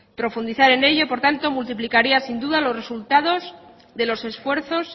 profundizar en ello por tanto multiplicaría sin duda los resultados de los esfuerzos